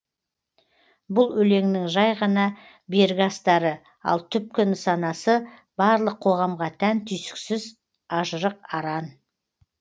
бұл өлеңнің жай ғана бергі астары ал түпкі нысанасы барлық қоғамға тән түйсіксіз ажырық аран